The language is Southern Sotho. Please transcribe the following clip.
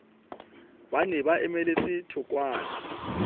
ba ne ba emeletse thokwana